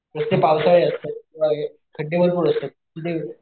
नुसते पावसाळे असतात किंवा हे खड्डे भरपूर असतात तिथे,